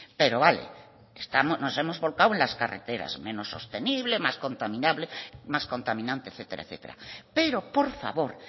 pero vale nos hemos volcado en las carreteras menos sostenible más contaminante etcétera etcétera pero por favor